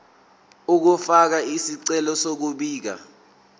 ukufaka isicelo sokubika